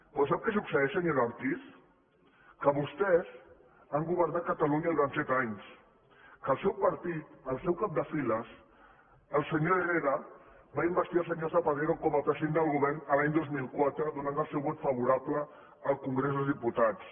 però sap que succeeix senyora ortiz que vostès han governat catalunya durant set anys que el seu partit el seu cap de files el senyor herrera va investir el senyor zapatero com a president del govern l’any dos mil quatre donant el seu vot favorable al congrés dels diputats